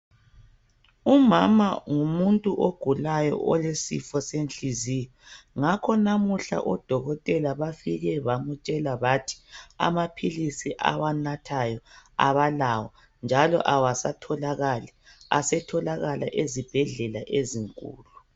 Umama ngumuntu ogulayo olesifo senhliziyo ngakho namuhla odokotela bafike bamutshele bathi amaphilisi awanathayo abalawo njalo awasatholakala asetholakala ezibhedlela ezinkulu.